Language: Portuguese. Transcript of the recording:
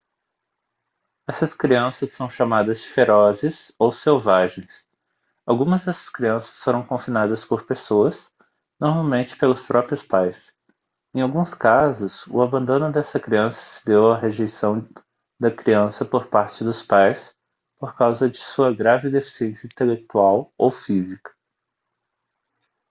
essas crianças são chamadas de ferozes ou selvagens. algumas dessas crianças foram confinadas por pessoas normalmente pelos próprios pais; em alguns casos o abandono dessa criança se deu à rejeição da criança por partes dos pais por causa de sua grave deficiência intelectual ou física